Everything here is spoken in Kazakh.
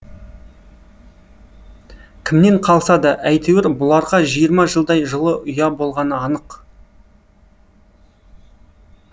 кімнен қалса да әйтеуір бұларға жиырма жылдай жылы ұя болғаны анық